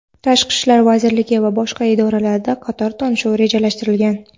Tashqi ishlar vazirligi va boshqa idoralarda qator uchrashuv rejalashtirilgan.